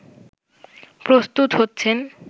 প্রস্তুত হচ্ছেন